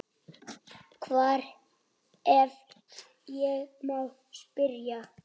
Hvar, ef ég má spyrja?